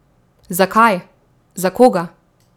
Zakaj, za koga?